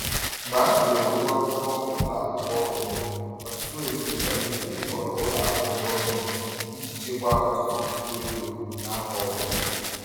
Mgbe a tụlere ụgwọ akwụkwọ ụlọ akwụkwọ onwe, ọtụtụ ezinụlọ kpebiri ịhọrọ ụlọ akwụkwọ gọọmenti iji chekwaa ọtụtụ puku ego n’afọ ọ bụla.